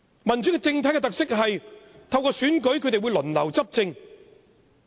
民主政體的特色是會透過選舉輪流執政。